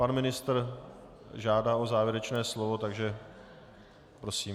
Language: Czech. Pan ministr žádá o závěrečné slovo, takže prosím.